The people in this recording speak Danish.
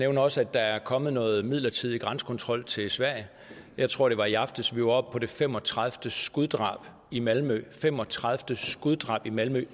også at der er kommet noget midlertidig grænsekontrol til sverige jeg tror det var i aftes vi var oppe på det fem og tredive skuddrab i malmø det fem og tredive skuddrab i malmø